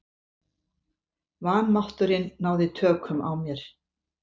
Vanmátturinn náði tökum á mér.